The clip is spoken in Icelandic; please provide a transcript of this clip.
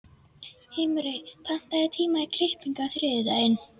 Himri, pantaðu tíma í klippingu á þriðjudaginn.